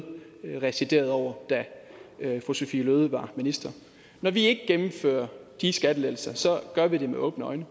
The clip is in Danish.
residerede over da fru sophie løhde var minister når vi ikke gennemfører de skattelettelser gør vi det med åbne øjne